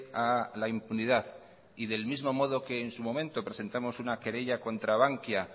a la impunidad y del mismo modo que en su momento presentamos una querella contra bankia